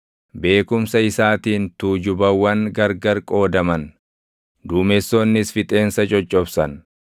beekumsa isaatiin tuujubawwan gargar qoodaman; duumessoonnis fixeensa coccobsan.